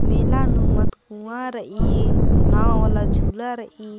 मेला नू मत कुंआ रइई नवा वाला झुला रइई--